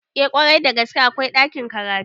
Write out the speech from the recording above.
Eh kwarai da gaske akwai ɗakin karatu